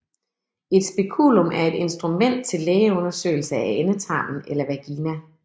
Et speculum er et instrument til lægeundersøgelse af endetarmen eller vagina